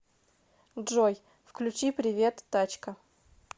джой включи привет тачка